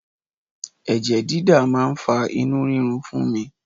Ẹ̀jẹ̀ dídà mi máa ń fa inú rírun fún mi